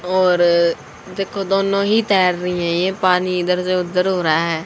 और देखो दोनों ही तैर रही है ये पानी इधर से उधर हो रहा है।